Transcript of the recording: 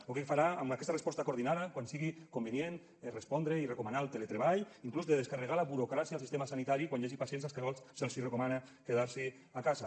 o què farà amb aquesta resposta coordinada quan sigui convenient respondre i recomanar el teletreball fins i tot de descarregar la burocràcia al sistema sanitari quan hi hagi pacients als quals se’ls hi recomana quedar se a casa